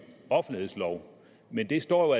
offentlighedslov men det står